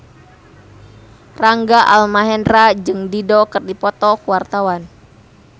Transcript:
Rangga Almahendra jeung Dido keur dipoto ku wartawan